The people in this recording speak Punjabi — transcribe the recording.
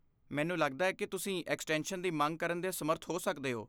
ਮੈਨੂੰ ਲੱਗਦਾ ਹੈ ਕਿ ਤੁਸੀਂ ਐਕਸਟੈਂਸ਼ਨ ਦੀ ਮੰਗ ਕਰਨ ਦੇ ਸਮਰੱਥ ਹੋ ਸਕਦੇ ਹੋ।